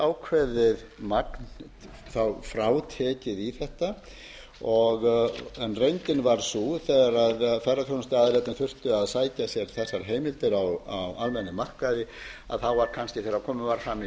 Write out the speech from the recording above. tryggja að það sé ákveðið magn frátekið í þetta reyndin varð sú þegar ferðaþjónustuaðilarnir þurftu að sækja sér þessar heimildir á almennum markaði þá var kannski þegar komið var fram í